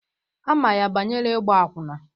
Ama ya banyere igba akwụna.